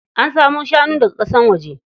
An samo shanu daga ƙasar waje.